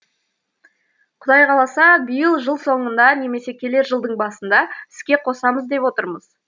құдай қаласа биыл жыл соңында немесе келер жылдың басында іске қосамыз деп отырмыз